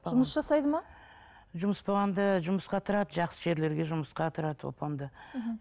жұмыс жасайды ма жұмыс болғанда жұмысқа тұрады жақсы жерлерге жұмысқа тұрады оп оңды мхм